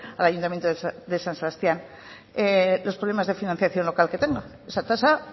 al ayuntamiento de san sebastián los problemas de financiación local que tenga esa tasa